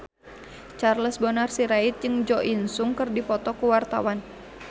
Charles Bonar Sirait jeung Jo In Sung keur dipoto ku wartawan